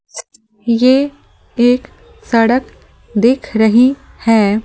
ये एक सड़क दिख रही है ।